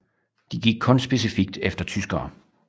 De gik kun specifikt efter tyskere